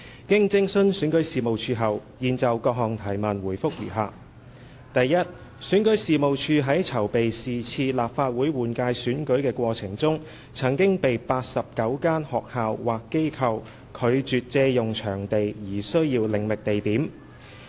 經徵詢選舉事務處後，現就質詢的各項問題答覆如下：一選舉事務處在籌備是次立法會換屆選舉的過程中，曾被89間學校或機構拒絕借用場地而需要另覓地點。